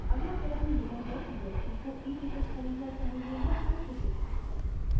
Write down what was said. अगला प्रश्न यह है कि व्यक्ति को eticket खरीदना चाहिए या iticket